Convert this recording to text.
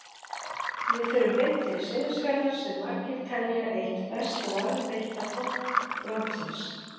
Við förum beint til Seyðisfjarðar sem margir telja eitt best varðveitta þorp landsins.